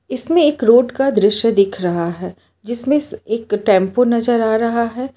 इसमें एक रोड का दृश्य दिख रहा है जिसमें एक टेंपो नजर आ रहा है।